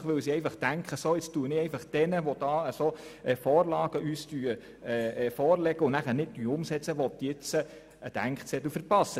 Das tun sie dann möglicherweise, weil sie merken, dass Ihnen Vorlagen unterbreitet werden und ihr Wille dann doch nicht umgesetzt wird.